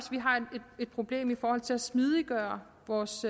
et problem i forhold til at smidiggøre vores